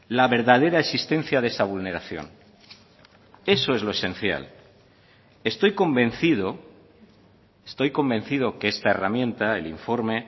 la verdadera existencia de esa vulneración eso es lo esencial estoy convencido estoy convencido que esta herramienta el informe